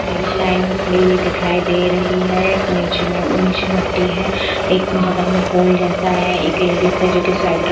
line में खड़ी हुई दिखाई दे रही है नीचे में नीचे मिट्टी है एक बगल में पोल जैसा है एक लेडीज है जो कि स्वेटर--